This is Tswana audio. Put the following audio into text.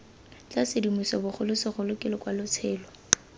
tla sedimosiwa bogolosegolo ke lokwalotshelo